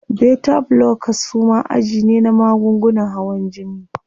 Beta blockers suma aji ne na magungunan hawan jini.